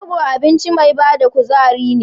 Rogo abinci mai bada kuzari ne.